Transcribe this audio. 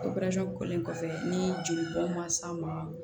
kɔfɛ ni jeli bɔn ma s'an ma